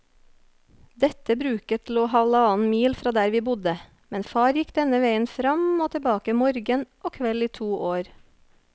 Dette bruket lå halvannen mil fra der vi bodde, men far gikk denne veien fram og tilbake morgen og kveld i to år.